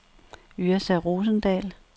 Yrsa Rosendahl